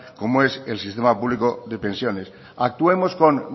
como es el sistema público de pensiones actuemos con